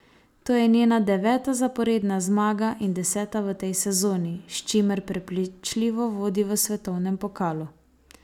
To je njena deveta zaporedna zmaga in deseta v tej sezoni, s čimer prepričljivo vodi v svetovnem pokalu.